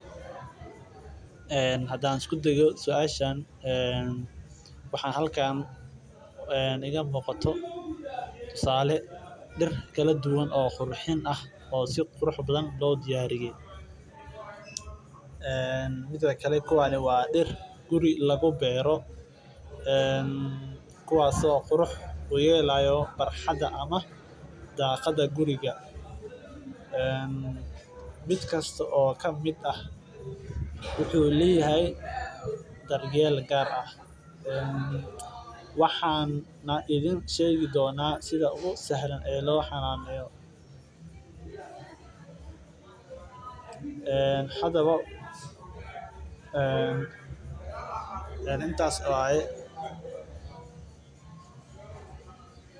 Hadaan isku dayo suashan waxaa halkan iiga muuqda tusaale dir kala duban oo qurxin ah waa dir guri lagu beero kuwaas oo qurux uyelayo barxada guriga mid kasta wuxuu leyahay dar yeel gaar ah hadaba intaas waye.